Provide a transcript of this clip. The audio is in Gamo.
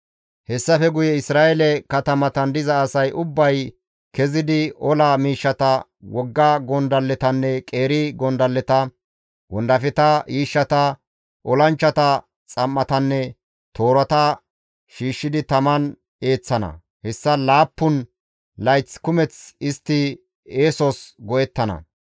« ‹Hessafe guye Isra7eele katamatan diza asay ubbay kezidi, ola miishshata, wogga gondalletanne qeeri gondalleta, wondafeta, yiishshata, olanchchata xam7atanne toorata shiishshidi taman eeththana. Hessa laappun layth kumeth istti eesos go7ettana.